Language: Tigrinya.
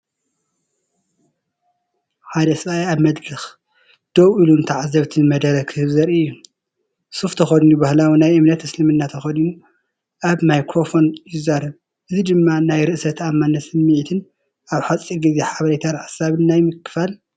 ሓደ ሰብኣይ ኣብ መድረኽ ደው ኢሉ ንተዓዘብቲ መደረ ክህብ ዘርኢ እዩ። ሱፍ ተኸዲኑ ባህላዊ ናይ እምነት እስልምና ተኸዲኑ ኣብ ማይክሮፎን ይዛረብ። እዚ ድማ ናይ ርእሰ ተኣማንነት ስምዒትን ኣብ ሓጺር ግዜ ሓበሬታን ሓሳባት ናይ ምክፋል ።